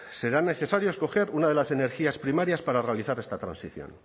serán necesarios coger una de las energías primarias para realizar esta transición